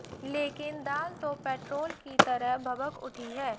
लेकिन दाल तो पेट्रोल की तरह भभक उठी है